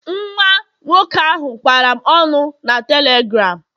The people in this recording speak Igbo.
Nwa nwoke ahụ kwara m ọnụ na telegram